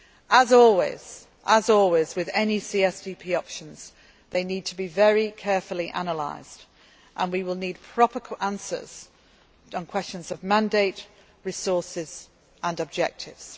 efforts. As always with any CSDP options, this needs to be very carefully analysed and we will need proper answers on questions of mandate, resources